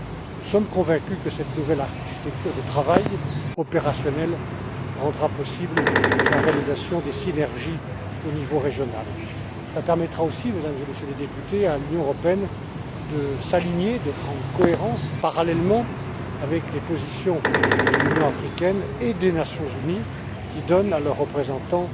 Nous sommes convaincus que cette nouvelle architecture de travail opérationnelle rendra possible la réalisation des synergies au niveau régional. Elle permettra aussi, Mesdames et Messieurs les députés, à l'Union européenne de s'aligner et d'être cohérente, par rapport aux positions de l'Union africaine et des Nations Unies, qui donnent progressivement à leurs représentants